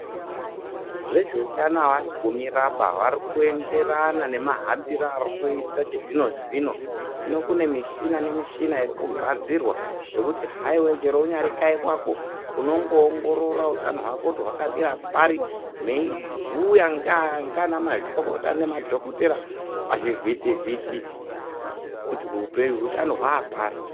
Vezveutano havasi mumiraba, vari kuenderana nemahambiro ari kuita chizvino zvino. Hino kune mishina nemishina irikugadzirwa yekuti chero uchida haiwa kunyari kanyi kwako unongoongora utano hwako kuti hwakamira pari, meibhuya ngaana mazvikokota namadhokotera pachivhiti kuti hutano hwaa pari.